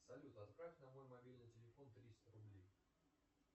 салют отправь на мой мобильный телефон триста рублей